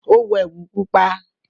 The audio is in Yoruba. o wọ ẹwu pupa.